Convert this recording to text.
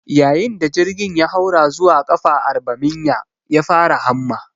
Yayin da jirgin ya haura zuwa ƙafa arbaminya, ya fara hamma